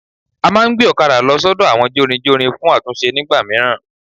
A máa ngbé òkadà lo sódò àwọn jórinjórin fún àtúnse nígbà míràn